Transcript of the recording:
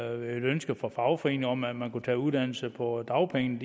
ønske fra fagforeningerne om at man kunne tage uddannelse på dagpenge